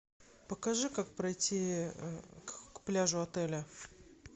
покажи как пройти к пляжу отеля